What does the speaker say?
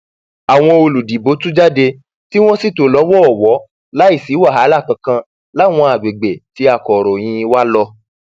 àwọn olùdìbò tú jáde tí wọn sì tò lọwọọwọ láì ṣi wàhálà kankan láwọn àgbègbè tí akọròyìn wa lò